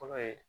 Fɔlɔ ye